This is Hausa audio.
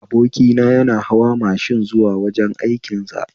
Abokina yana hawa mashin zuwa wajen aikin sa